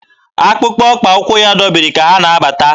Akpụkpọ ụkwụ ya dọbiri ka ha na-abata.